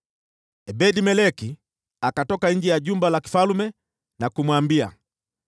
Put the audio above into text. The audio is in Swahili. Ebed-Meleki akatoka nje ya jumba la kifalme na kumwambia,